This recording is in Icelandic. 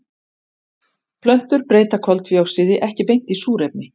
Plöntur breyta koltvíoxíði ekki beint í súrefni.